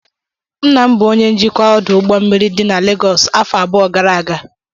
Nna m bụ onye njikwa ọdụ ụgbọ mmiri dị na Legọsụ afọ abụọ gara aga.